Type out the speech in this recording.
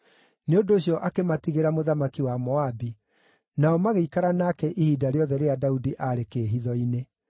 Nĩ ũndũ ũcio akĩmatigĩra mũthamaki wa Moabi, nao magĩikara nake ihinda rĩothe rĩrĩa Daudi arĩ kĩĩhitho-inĩ.